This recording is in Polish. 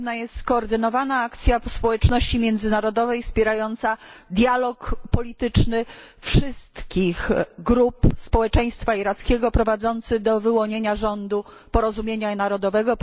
Potrzebna jest skoordynowana akcja społeczności międzynarodowej wspierająca dialog polityczny wszystkich grup społeczeństwa irackiego prowadzący do wyłonienia rządu porozumienia narodowego.